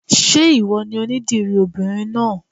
Ṣé ìwọ ni onídìrí obìnrin náà?